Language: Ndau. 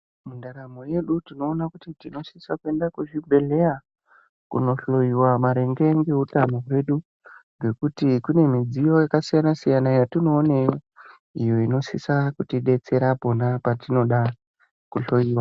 Muntaramo yedu tinoona kuti tinosisa kuenda kuchibhedhlera kunohloyiwa maringe neutano hwedu nekuti kune mudziyo yakasiyana siyana iyo yatinooneyo iyo inosisa kutibetsera pona patinoda kuhloyiwa .